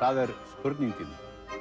það er spurningin